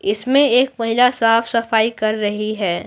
इसमें एक महिला साफ-सफाई कर रही है।